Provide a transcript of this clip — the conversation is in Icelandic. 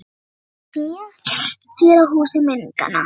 Að knýja dyra á húsi minninganna